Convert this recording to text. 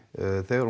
þegar